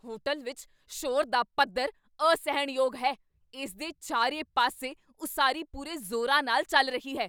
Hotel ਵਿੱਚ ਸ਼ੋਰ ਦਾ ਪੱਧਰ ਅਸਹਿਣਯੋਗ ਹੈ, ਇਸਦੇ ਚਾਰੇ ਪਾਸੇ ਉਸਾਰੀ ਪੂਰੇ ਜ਼ੋਰਾਂ ਨਾਲ ਚੱਲ ਰਹੀ ਹੈ।